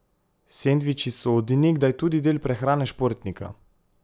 Sendviči so od nekdaj tudi del prehrane športnika.